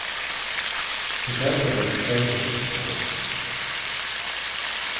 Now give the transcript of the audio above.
Försäkra dig om service och support.